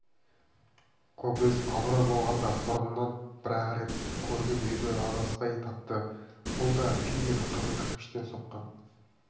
кобозев абырой болғанда бұрын бір-ақ рет көрген үйді адаспай тапты бұл да күйген қызыл кірпіштен соққан